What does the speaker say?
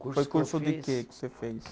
Foi curso de quê que você fez?